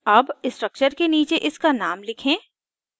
अब structure के नीचे इसका name लिखें